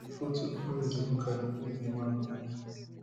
for di foto prez dey look at di place di man point